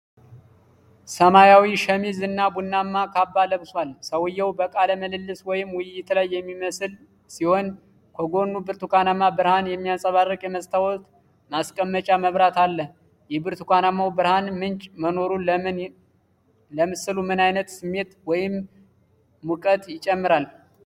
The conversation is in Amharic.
ሰማያዊ ሸሚዝ እና ቡናማ ካባ ለብሷል። ሰውየው በቃለ ምልልስ ወይም ውይይት ላይ የሚመስል ሲሆን፤ ከጎኑ የብርቱካናማ ብርሃን የሚያንጸባርቅ የመስታወት ማስቀመጫ መብራት አለ። የብርቱካናማው ብርሃን ምንጭ መኖሩ ለምስሉ ምን ዓይነት ስሜት ወይም ሙቀት ይጨምራል?